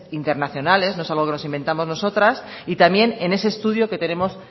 internacionales no es algo que nos inventamos nosotras y también en ese estudio que tenemos